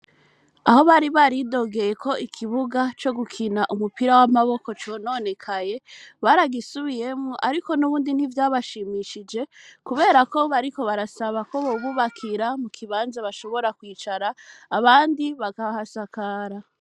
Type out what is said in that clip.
Aho bari baridogeyeko ikibuga co gukina umupira w'amaboko cononekaye baragisubiyemo, ariko n'ubundi ntivyabashimishije, kubera ko bariko barasaba ko bobubakira mu kibanza bashobora kwicara abandi bagahasakara.